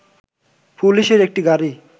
পুলিশের একটি গাড়ি